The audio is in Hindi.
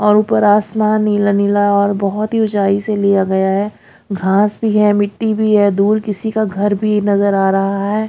और ऊपर आसमान नीला नीला और बहोत ही ऊंचाई से लिया गया है घास भी है मिट्टी भी है दूर किसी का घर भी नजर आ रहा है।